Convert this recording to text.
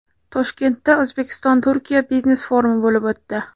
Toshkentda O‘zbekistonTurkiya biznes-forumi bo‘lib o‘tdi.